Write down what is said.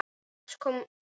Annars kom gestur.